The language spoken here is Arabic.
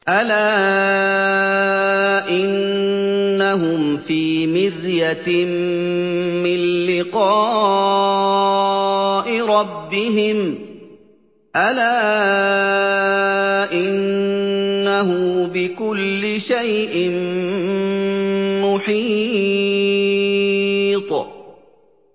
أَلَا إِنَّهُمْ فِي مِرْيَةٍ مِّن لِّقَاءِ رَبِّهِمْ ۗ أَلَا إِنَّهُ بِكُلِّ شَيْءٍ مُّحِيطٌ